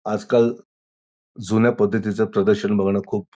आजकाल जुन्या पद्धतीचं प्रदर्शन बघन खूप --